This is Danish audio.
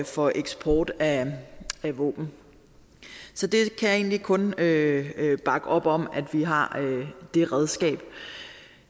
for eksport af våben så det kan jeg egentlig kun bakke op om altså at vi har det redskab